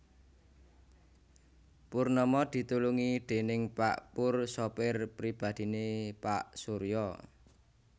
Purnama ditulungi déning pak Pur sopir pribadhiné pak Surya